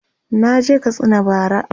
naje Katsina bara